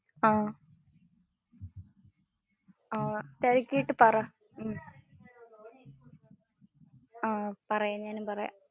അഹമ്. തിരക്കിയിട്ടു പറ. ആഹ് ഞാൻ പറയാം.